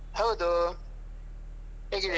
ಹೌದು ಹೇಗಿದ್ದೀರಾ?